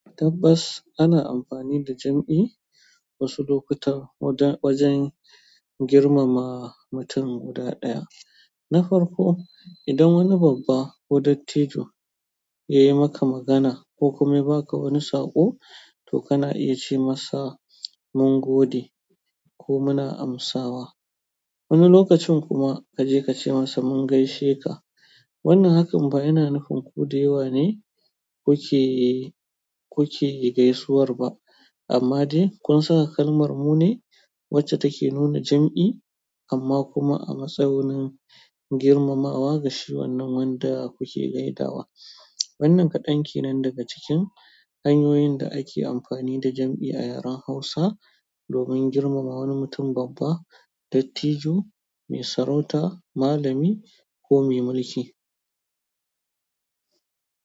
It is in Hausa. Tabbas ana amfani da jam'i wasu lokutan wajen wajen girmama mutum guda ɗaya. Na farko, idan wani babba ko dattijo ya yi maka magana ko kuma ya ba ka wani saƙo, to kana iya ce masa "mun gode" ko "muna amsawa". Wani lokacin kuma kaje ka ce masa "mun gaishe ka". Wannan hakan ba yana nufin ku da yawa ne kuke kuke gaisuwar ba, amma dai kun saka kalmar "mu" ne wacce take nuna jam'i amma kuma a matsayin girmamawa ga shi wannan wanda kuke gaidawa. Wannan kaɗan kenan daga cikin hanyoyin da ake amfani da jam'i a yaren Hausa domin girmama wani mutum babba, dattijo, mai sarauta, malami ko mai mulki.